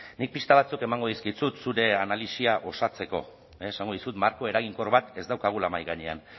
nik pista batzuk emango dizkizut zure analisia osatzeko esango dizut marko eraginkor bat ez daukagula mahai gainean